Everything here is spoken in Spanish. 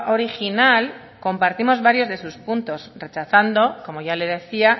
original compartimos varios de sus puntos rechazando como ya le decía